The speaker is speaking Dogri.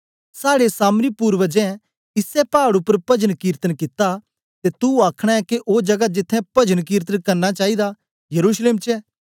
साड़े सामरी पूर्वजे इसै पाड़ उपर पजनकीर्तन कित्ता ते तू अखनां के ओ जगा जित्त्थें पजनकीर्तन करना चाईदा यरूशलेम च ऐ